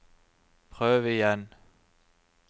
prøv igjen